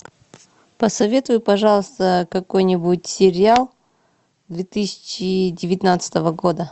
посоветуй пожалуйста какой нибудь сериал две тысячи девятнадцатого года